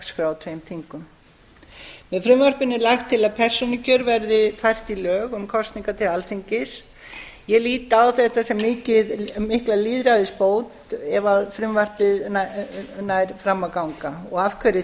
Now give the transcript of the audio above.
dagskrá á tveimur þingum með frumvarpinu er lagt til að persónukjör verði fært í lög um kosningar til alþingis ég lít á þetta sem mikla lýðræðisbót ef frumvarpið nær fram að ganga og af